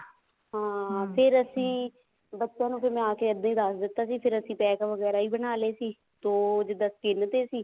ਹਾਂ ਫ਼ੇਰ ਅਸੀਂ ਬੱਚਿਆਂ ਨੂੰ ਮੈਂ ਆ ਕੇ ਇੱਦਾਂ ਹੀ ਦੱਸ ਦਿੱਤਾ ਸੀ ਫ਼ੇਰ ਅਸੀਂ ਪੈਕ ਵਗੈਰਾ ਵੀ ਬਣਾ ਲਏ ਸੀ ਇੱਕ ਤੋਂ ਜਿੱਦਾਂ ਤਿੰਨ ਤੇ ਸੀ